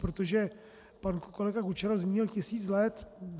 Protože pan kolega Kučera zmínil tisíc let.